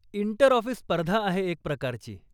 Inter office स्पर्धा आहे एक प्रकारची.